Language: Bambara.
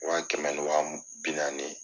Wa kɛmɛ ni wa bi naani